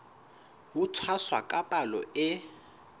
ho tshwasa ka palo e